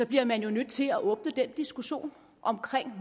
bliver man jo nødt til at åbne den diskussion om